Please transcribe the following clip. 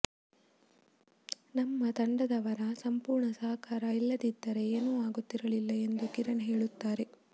ನಮ್ಮ ತಂಡದವರ ಸಂಪೂರ್ಣ ಸಹಕಾರ ಇಲ್ಲದಿದ್ದರೆ ಏನೂ ಆಗುತ್ತಿರಲಿಲ್ಲ ಎಂದು ಕಿರಣ್ ಹೇಳುತ್ತಾರೆ